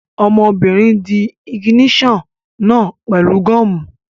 Ọmọbìnrin dí ìgìníṣà náà pẹ̀lú gọ́ọ̀mù